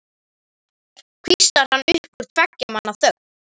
hvíslar hann upp úr tveggja manna þögn.